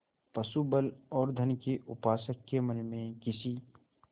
पशुबल और धन के उपासक के मन में किसी